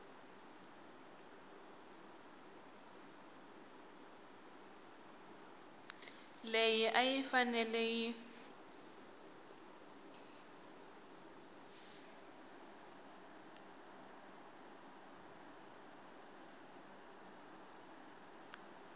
leyi a yi fanele yi